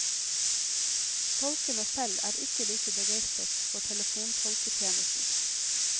Tolkene selv er ikke like begeistret for telefontolketjenesten.